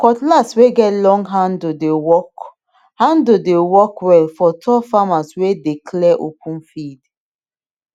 cutlass wey get long handle dey work handle dey work well for tall farmers wey dey clear open field